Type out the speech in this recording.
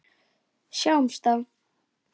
Sjáumst þá!